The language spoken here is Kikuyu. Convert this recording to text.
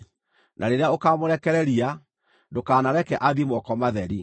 Na rĩrĩa ũkaamũrekereria, ndũkanareke athiĩ moko matheri.